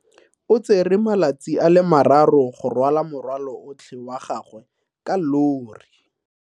O tsere malatsi a le marraro go rwala morwalo otlhe wa gagwe ka llori.